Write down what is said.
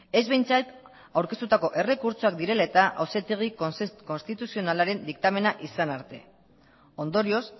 ez behintzat aurkeztutako errekurtsoak direla eta auzitegi konstituzionalaren diktamena izan arte ondorioz